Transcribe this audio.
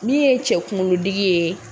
Min ye cɛ kunkolodigi ye.